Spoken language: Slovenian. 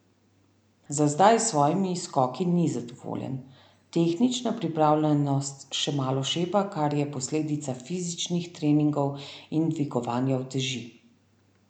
Za zdaj s svojimi skoki ni zadovoljen: 'Tehnična pripravljenost še malo šepa, kar je posledica fizičnih treningov in dvigovanja uteži.